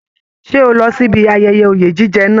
Ṣe o lọ síbi ayẹyẹ oye jíjẹ náà?